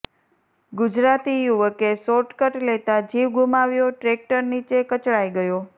ગુજરાતી યુવકે શોર્ટકટ લેતાં જીવ ગુમાવ્યોઃ ટ્રેક્ટર નીચે કચડાઈ ગયો